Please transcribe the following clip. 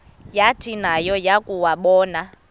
yathi nayo yakuwabona